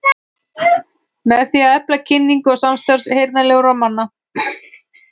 Með því að efla kynningu og samstarf heyrnarsljórra manna.